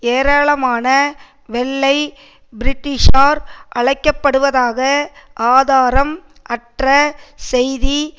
ஏராளமான வெள்ளை பிரிட்டிஷார் அழைக்க படுவதாக ஆதாரம் அற்ற செய்தி